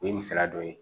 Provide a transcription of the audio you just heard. O ye misaliya dɔ ye